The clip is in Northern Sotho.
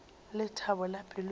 lethabo la pelo ya ka